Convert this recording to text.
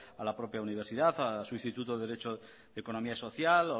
a la propia universidad a su instituto derecho economía social